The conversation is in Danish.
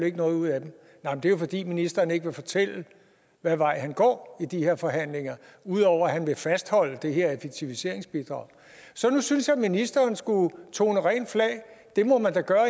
ikke noget ud af dem det er jo fordi ministeren ikke vil fortælle hvad vej han går i de her forhandlinger ud over at han vil fastholde det her effektiviseringsbidrag så jeg synes at ministeren skulle tone rent flag det må man da gøre